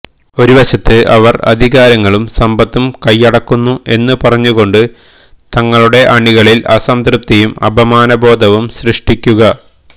ഒരുവശത്ത് അവർ അധികാരങ്ങളും സമ്പത്തും കയ്യടക്കുന്നു എന്ന് പറഞ്ഞുകൊണ്ട് തങ്ങളുടെ അണികളിൽ അസംതൃപ്തിയും അപമാനബോധവും സൃഷ്ടിക്കുക